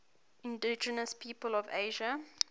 indigenous peoples of asia